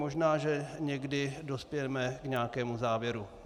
Možná že někdy dospějeme k nějakému závěru.